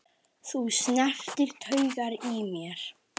Þú snertir taugar í mér.